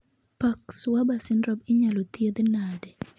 Parkes Weber syndrome inyalo thiedhe nade?